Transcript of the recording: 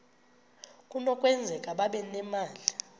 kunokwenzeka babe nemali